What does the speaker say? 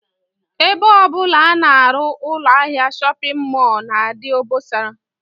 Ebe ọ bụla a na-arụ ụlọahịa shọpịn mọl na-adị obosara